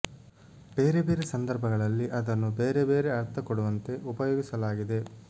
ಬೇರೆ ಬೇರೆ ಸಂದರ್ಭಗಳಲ್ಲಿ ಅದನ್ನು ಬೇರೆ ಬೇರೆ ಅರ್ಥ ಕೊಡುವಂತೆ ಉಪಯೋಗಿಸಲಾಗಿದೆ